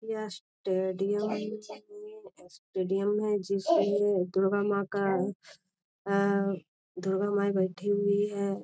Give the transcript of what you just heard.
यह stadium stadium है जिसमे दुर्गा मां का अ दुर्गा माई बैठी हुई हैं।